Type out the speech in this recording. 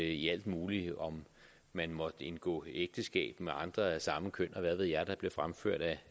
i alt muligt om man måtte indgå ægteskab med andre af samme køn og hvad ved jeg hvad der blev fremført af